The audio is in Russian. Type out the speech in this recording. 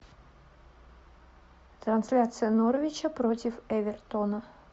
трансляция норвича против эвертона